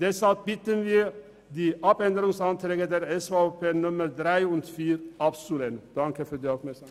Deshalb bitten wir Sie, die Anträge 3 und 4 der SVP abzulehnen.